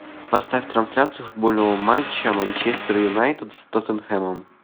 поставь трансляцию футбольного матча манчестер юнайтед с тоттенхэмом